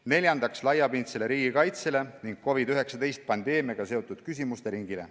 Neljandaks, laiapindsele riigikaitsele ning COVID-19 pandeemiaga seotud küsimusteringile.